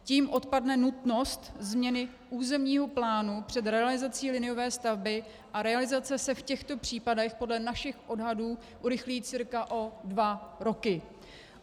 Tím odpadne nutnost změny územního plánu před realizací liniové stavby a realizace se v těchto případech podle našich odhadů urychlí cca o dva roky.